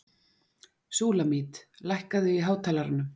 Súlamít, lækkaðu í hátalaranum.